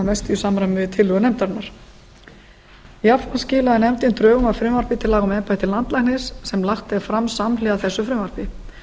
mestu í samræmi við tillögur nefndarinnar jafnframt skilaði nefndin drögum að frumvarpi til laga um embætti landlæknis sem lagt er fram samhliða þessu frumvarpi